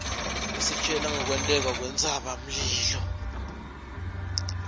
isitjela ngkwenteka kwentsaba mlilo